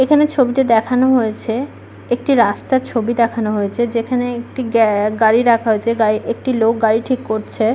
এখানে ছবিতে দেখানো হয়েছে একটি রাস্তার ছবি দেখানো হয়েছে যেখানে একটি গ্যা গাড়ী রাখা হয়েছে একটি লোক গাড়ি ঠিক করছে।